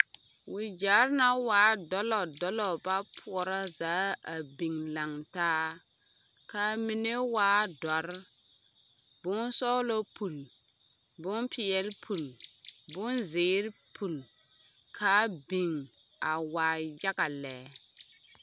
Waɡyɛre na waa dɔlɔdɔlɔ ba poɔrɔ zaa a biŋ lantaa ka a mine waa dɔre bonsɔɔlɔ puli bompeɛle puli bonziiri puli ka a biŋ a waa yaɡa lɛ.